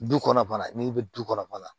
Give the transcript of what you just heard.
Du kɔnɔ bana n'i bɛ du kɔnɔ